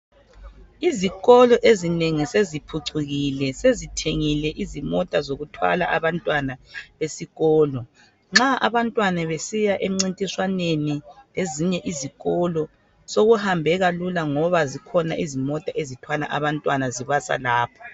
Izikolo ezinengi seziphucukile sezithengile izimota zokuthwala abantwana esikolo. Nxa abantwana besiya emncintiswaneni lezinye izikolo sokuhambeka lula ngoba zikhona ezinye ezithwala abantwana zibasa lapho.